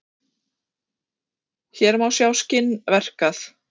hér má sjá skinn verkað